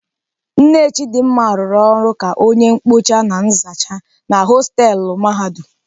Nne Chidimma rụrụ ọrụ ka onye mkpocha na nzacha na hostelu mahadum.